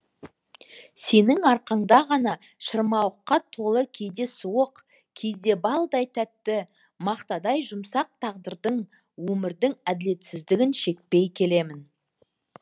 сенің арқаңда ғана шырмауыққа толы кейде суық кейде балдай тәтті мақтадай жұмсақ тағдырдың өмірдің әділетсіздігін шекпей келемін